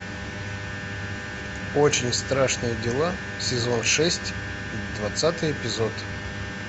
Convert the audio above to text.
очень страшные дела сезон шесть двадцатый эпизод